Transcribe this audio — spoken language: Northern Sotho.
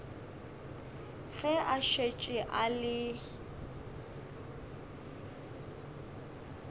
ge a šetše a le